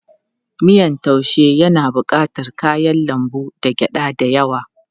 Miyan taaushe yana bukatar kayan lambu da gyada da yawa.